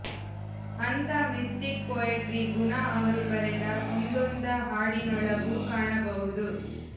ಅಂಥ mystic poetry ಗುಣಾ ಅವರು ಬರೆದ ಒಂದೊಂದ ಹಾಡಿನೊಳಗೂ ಕಾಣಬಹುದು